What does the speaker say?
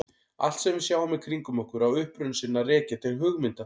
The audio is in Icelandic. Allt sem við sjáum í kringum okkur á uppruna sinn að rekja til hugmynda.